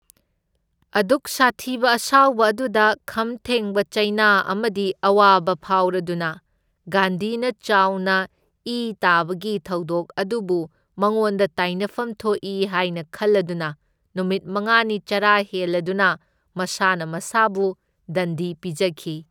ꯑꯗꯨꯛ ꯁꯥꯊꯤꯕ ꯑꯁꯥꯎꯕ ꯑꯗꯨꯗ ꯈꯝ ꯊꯦꯡꯕ ꯆꯩꯅꯥ ꯑꯃꯗꯤ ꯑꯋꯥꯕ ꯐꯥꯎꯔꯗꯨꯅ, ꯒꯥꯟꯙꯤꯅ ꯆꯥꯎꯅ ꯏ ꯇꯥꯕꯒꯤ ꯊꯧꯗꯣꯛ ꯑꯗꯨꯕꯨ ꯃꯉꯣꯟꯗ ꯇꯥꯏꯅꯐꯝ ꯊꯣꯛꯏ ꯍꯥꯏꯅ ꯈꯜꯂꯗꯨꯅ ꯅꯨꯃꯤꯠ ꯃꯉꯥꯅꯤ ꯆꯔꯥ ꯍꯦꯜꯂꯗꯨꯅ ꯃꯁꯥꯅ ꯃꯁꯥꯕꯨ ꯗꯟꯗꯤ ꯄꯤꯖꯈꯤ꯫